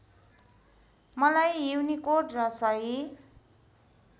मलाई युनिकोड र सही